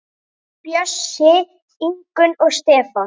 Bjössi, Ingunn og Stefán.